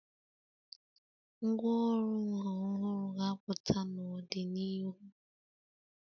Ngwá ọrụ nha ọhụrụ ga-apụta n'ọdịnihu.